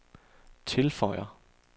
tilføjer